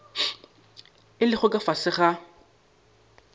a lego ka fase ga